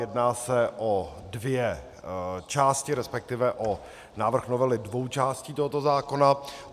Jedná se o dvě části, respektive o návrh novely dvou částí tohoto zákona.